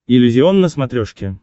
иллюзион на смотрешке